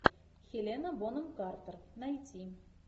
хелена бонем картер найти